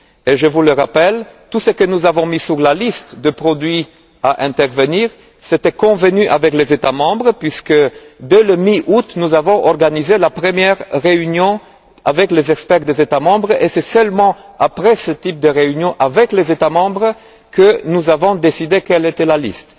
Je vous le rappelle, tout ce que nous avons mis sur la liste de produits devant faire l'objet d'une intervention était convenu avec les États membres. En effet, dès la mi août, nous avons organisé la première réunion avec les experts des États membres et c'est seulement après ce type de réunions avec les États membres que nous avons décidé quelle était la liste.